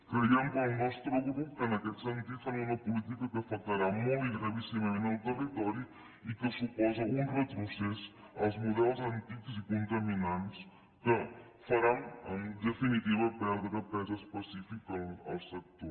creiem el nostre grup que en aquest sentit fan una política que afectarà molt i gravíssimament el territori i que suposa un retrocés als models antics i contaminants que faran en definitiva perdre pes específic al sector